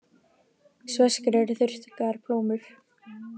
Sveskjur eru þurrkaðar plómur.